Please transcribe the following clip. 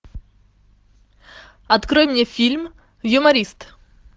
открой мне фильм юморист